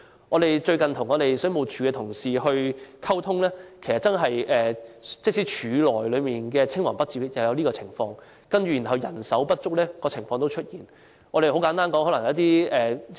我們最近與水務署同事溝通，其實署內也有青黃不接的情況，人手不足的情況亦同樣出現。